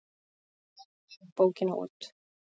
Geit gefur bókina út.